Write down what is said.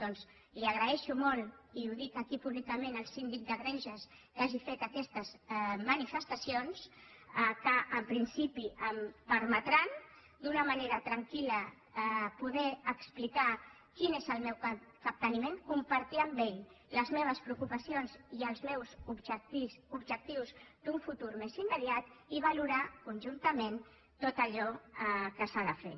doncs agraeixo molt i ho dic aquí públicament al síndic de greuges que hagi fet aquestes manifestacions que en principi permetran d’una manera tranquil·la poder explicar quin és el meu capteniment compartir amb ell les meves preocupacions i els meus objectius d’un futur més immediat i valorar conjuntament tot allò que s’ha de fer